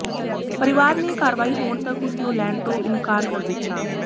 ਪਰਿਵਾਰ ਨੇ ਕਾਰਵਾਈ ਹੋਣ ਤਕ ਉਸ ਨੂੰ ਲੈਣ ਤੋਂ ਇਨਕਾਰ ਕਰ ਦਿੱਤਾ